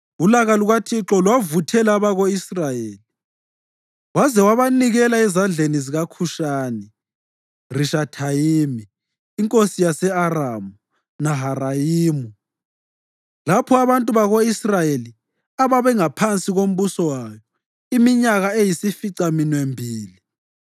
Ulaka lukaThixo lwavuthela abako-Israyeli waze wabanikela ezandleni zikaKhushani-Rishathayimi inkosi yase-Aramu Naharayimu, lapho abantu bako-Israyeli ababangaphansi kombuso wayo iminyaka eyisificaminwembili.